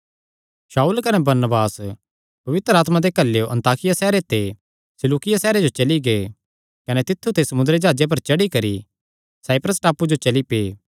शाऊल कने बरनबास पवित्र आत्मा दे घल्लेयो अन्ताकिया सैहरे ते सिलूकिया सैहरे जो चली गै कने तित्थु ते समुंदरी जाह्जे पर चढ़ी करी साइप्रस टापू जो चली पै